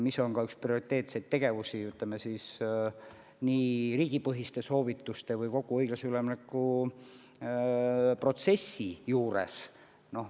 See on üks prioriteetne tegevus nii riigipõhiste soovituste kohaselt kui ka kogu õiglase ülemineku protsessis.